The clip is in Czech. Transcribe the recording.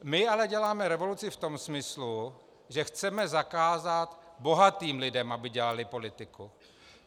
My ale děláme revoluci v tom smyslu, že chceme zakázat bohatým lidem, aby dělali politiku.